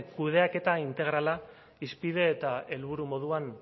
kudeaketa integrala hizpide eta helburu moduan